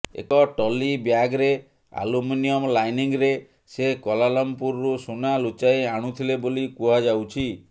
ଏକ ଟ୍ରଲି ବ୍ୟାଗ୍ରେ ଆଲୁମିନିୟମ୍ ଲାଇନିଙ୍ଗ୍ରେ ସେ କ୍ୱାଲାଲାମ୍ପୁରରୁ ସୁନା ଲୁଚାଇ ଆଣୁଥିଲେ ବୋଲି କୁହାଯାଉଛି